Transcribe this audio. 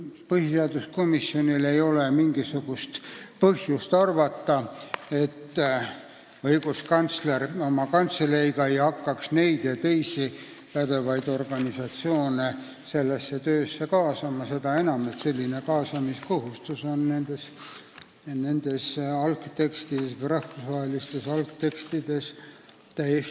Põhiseaduskomisjonil ei ole mingisugust põhjust arvata, et õiguskantsler oma kantseleiga ei hakkaks neid ja teisi pädevaid organisatsioone sellesse töösse kaasama – seda enam, et kaasamiskohustus on nendes rahvusvahelistes algtekstides kirjas.